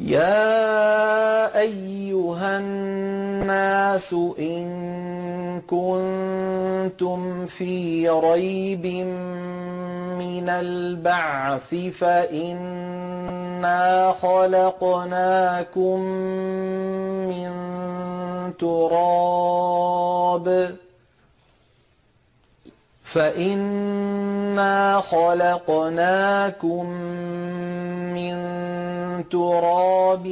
يَا أَيُّهَا النَّاسُ إِن كُنتُمْ فِي رَيْبٍ مِّنَ الْبَعْثِ فَإِنَّا خَلَقْنَاكُم مِّن تُرَابٍ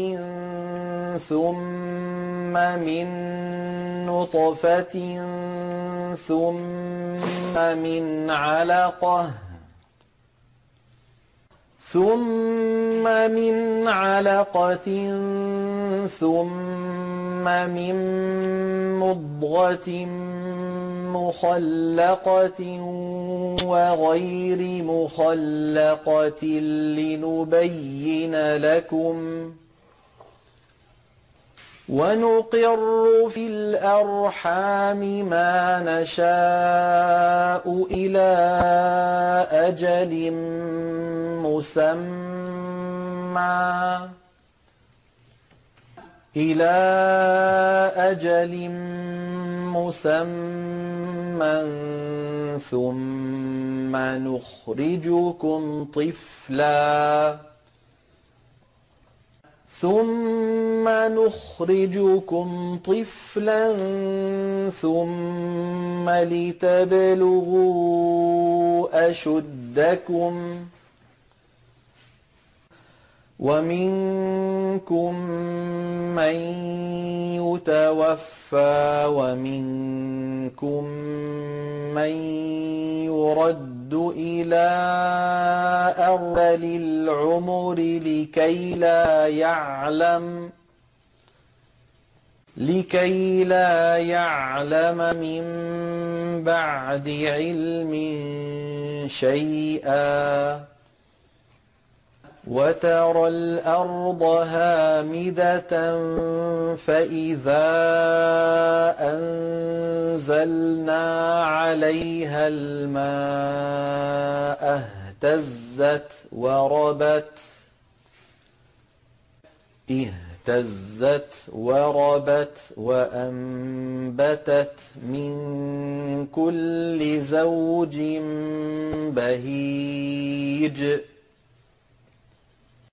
ثُمَّ مِن نُّطْفَةٍ ثُمَّ مِنْ عَلَقَةٍ ثُمَّ مِن مُّضْغَةٍ مُّخَلَّقَةٍ وَغَيْرِ مُخَلَّقَةٍ لِّنُبَيِّنَ لَكُمْ ۚ وَنُقِرُّ فِي الْأَرْحَامِ مَا نَشَاءُ إِلَىٰ أَجَلٍ مُّسَمًّى ثُمَّ نُخْرِجُكُمْ طِفْلًا ثُمَّ لِتَبْلُغُوا أَشُدَّكُمْ ۖ وَمِنكُم مَّن يُتَوَفَّىٰ وَمِنكُم مَّن يُرَدُّ إِلَىٰ أَرْذَلِ الْعُمُرِ لِكَيْلَا يَعْلَمَ مِن بَعْدِ عِلْمٍ شَيْئًا ۚ وَتَرَى الْأَرْضَ هَامِدَةً فَإِذَا أَنزَلْنَا عَلَيْهَا الْمَاءَ اهْتَزَّتْ وَرَبَتْ وَأَنبَتَتْ مِن كُلِّ زَوْجٍ بَهِيجٍ